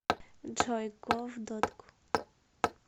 джой го в дотку